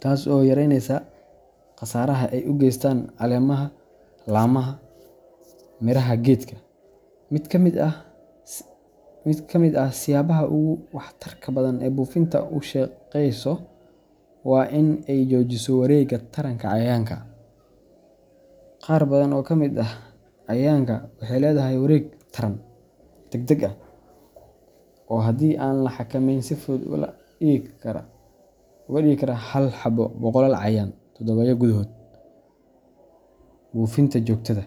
taas oo yaraynaysa khasaaraha ay u geystaan caleemaha, laamaha, iyo miraha geedka. Mid ka mid ah siyaabaha ugu waxtarka badan ee buufintu u shaqeyso waa in ay joojiso wareegga taranka cayayaanka. Qaar badan oo ka mid ah cayayaanka waxay leedahay wareeg taran degdeg ah oo haddii aan la xakameynin si fudud uga dhigi kara hal xabo boqolaal cayayaan toddobaadyo gudahood. Buufinta joogtada.